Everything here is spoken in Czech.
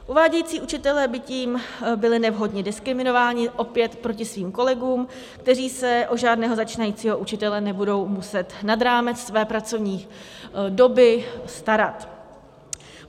Uvádějící učitelé by tím byli nevhodně diskriminováni, opět proti svým kolegům, kteří se o žádného začínajícího učitele nebudou muset nad rámec své pracovní doby starat.